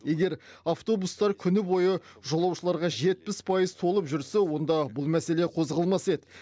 егер автобустар күні бойы жолаушыларға жетпіс пайыз толып жүрсе онда бұл мәселе қозғалмас еді